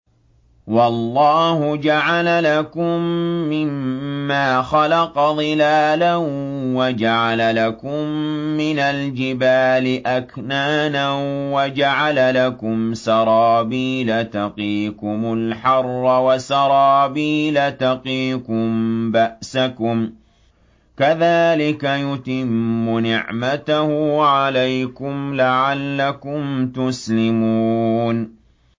وَاللَّهُ جَعَلَ لَكُم مِّمَّا خَلَقَ ظِلَالًا وَجَعَلَ لَكُم مِّنَ الْجِبَالِ أَكْنَانًا وَجَعَلَ لَكُمْ سَرَابِيلَ تَقِيكُمُ الْحَرَّ وَسَرَابِيلَ تَقِيكُم بَأْسَكُمْ ۚ كَذَٰلِكَ يُتِمُّ نِعْمَتَهُ عَلَيْكُمْ لَعَلَّكُمْ تُسْلِمُونَ